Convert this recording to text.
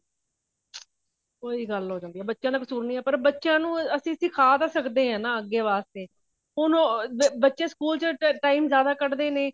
ਉਹੀ ਗੱਲ ਹੋ ਜਾਂਦੀ ਹੈ ਬੱਚਿਆ ਦਾ ਕਸੂਰ ਨਹੀਂ ਹੈ ਪਰ ਬੱਚਿਆ ਨੂੰ ਅਸੀਂ ਸਿਖਾ ਤਾ ਸਕਦੇ ਹਾਂ ਨਾ ਅੱਗੇ ਵਾਸਤੇ ਹੁਣ ਉਹ ਬੱਚੇ school ਚ time ਜਿਆਦਾ ਕੱਢਦੇ ਨੇ